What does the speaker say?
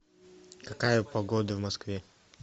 какая погода в москве